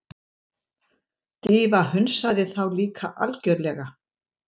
Drífa hunsaði þá líka algjörlega.